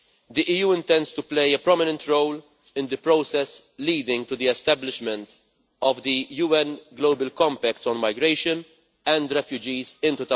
The EU intends to play a prominent role in the process leading to the establishment of the UN Global Compact on migration and refugees in